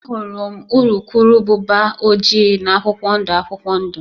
Ahụrụ m urukurubụba ojii na akwụkwọ ndụ akwụkwọ ndụ